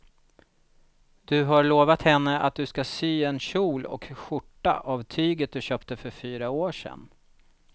Du har lovat henne att du ska sy en kjol och skjorta av tyget du köpte för fyra år sedan.